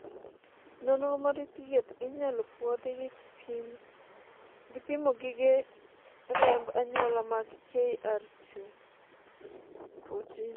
nonro mar thieth inyalo puodhi gi pimo gige remb anyuola mag KRT14